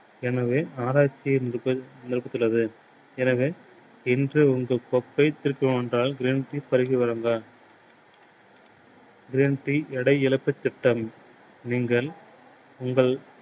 எனவே ஆராய்ச்சி இருக்கிறது. எனவே இன்று உங்கள் தொப்பை green tea பருகி வாருங்க green tea எடை இழப்புத் திட்டம். நீங்கள் உங்கள்